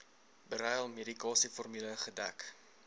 beryl medikasieformule gedek